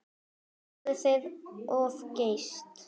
Fóru þeir of geyst?